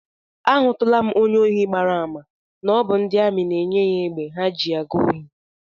Ahụtụla m onye ohi gbara àmà na ọ bụ ndị amị na-enye ya egbe ha ji aga ohi